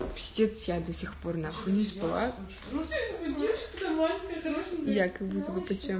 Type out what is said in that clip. частицы до сих пор нахуй не спала ну давай ты хороший я как будто